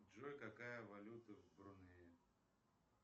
джой какая валюта в брунее